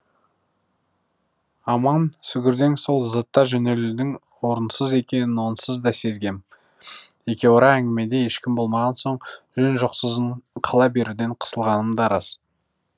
аман сүгірден соң зыта жөнелудің орынсыз екенін онсыз да сезгем екеуара әңгімеде еншім болмаған соң жөн жосықсыз қала беруден қысылғаным да рас